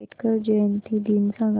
आंबेडकर जयंती दिन सांग